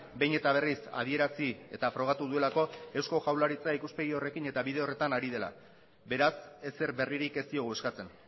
behin eta berriz adierazi eta frogatu duelako eusko jaurlaritza ikuspegi horrekin eta bide horretan ari dela beraz ezer berririk ez diogu eskatzen